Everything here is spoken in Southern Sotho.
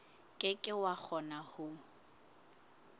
ke ke wa kgona ho